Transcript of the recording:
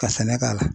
Ka sɛnɛ k'a la